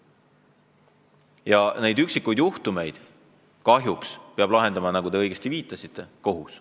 Ja neid üksikuid juhtumeid kahjuks peab lahendama, nagu te õigesti viitasite, kohus.